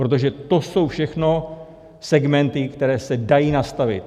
Protože to jsou všechno segmenty, které se dají nastavit.